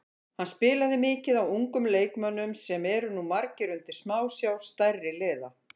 Hann spilaði mikið á ungum leikmönnum sem eru nú margir undir smásjá stærri liða.